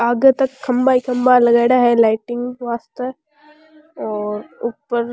आगे तक खम्भा खम्भा ही लगाईड़ा है लाइटिंग के वास्ते और ऊपर --